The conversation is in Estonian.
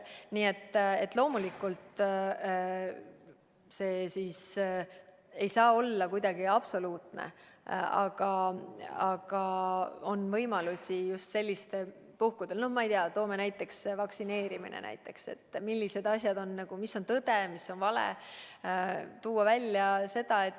Nii et loomulikult, see kontroll ei saa olla kuidagi absoluutne, aga just sellistel puhkudel, no ma ei tea, toon näiteks vaktsineerimise, tuleb tuua välja, milline asjade seis on, mis on tõde, mis on vale.